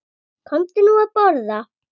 Komdu nú að borða